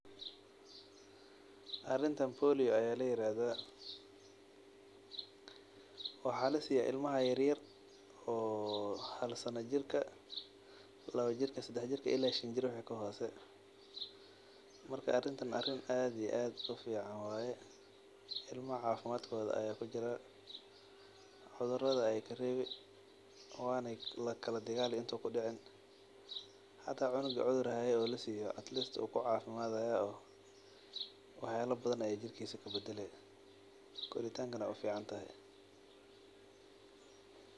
Arintan bolio aya layirahda waxaa lasiya ilmaha yar yar oo hal sana jirka lawajirka ila shan Jir waxaa kahose, marka arintan arin aad iyo aad ufican waye ilmaha cafimadkodha aya kujira cudhurada eyey karewi wana kala dagali inta ayey kudici hata cunugi cudhur hayo wukucafimadhaya oo waxyala fara badan ayu jirkisa kabadalaya.